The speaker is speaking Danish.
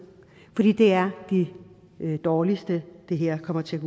fordi det er de dårligste det her kommer til at